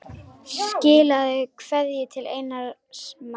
Skilaðu kveðju til Einars Más.